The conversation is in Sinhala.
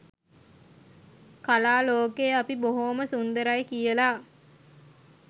කලා ලෝකේ අපි බොහෝම සුන්දරයි කියලා